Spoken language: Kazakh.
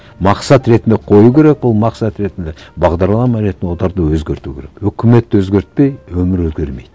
мақсат ретінде қою керек ол мақсат ретінде бағдарлама ретінде оларды өзгерту керек өкіметті өзгертпей өмір өзгермейді